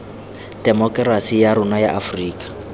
temokerasi ya rona ya aforika